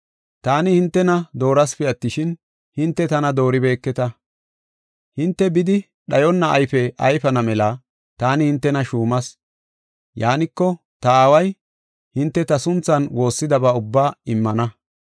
Taani hintena doorasipe attishin, hinte tana dooribeketa. Hinte bidi dhayonna ayfe ayfana mela taani hintena shuumas. Yaaniko, ta Aaway hinte ta sunthan woossidaba ubbaa immana.